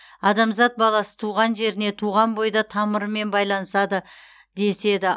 адамзат баласы туған жеріне туған бойда тамырымен байланады деседі